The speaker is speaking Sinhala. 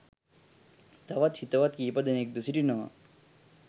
තවත් හිතවත් කීපදෙනෙක් ද සිටිනවා.